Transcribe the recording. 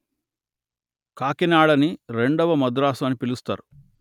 కాకినాడ ని రెండవ మద్రాసు అని పిలుస్తారు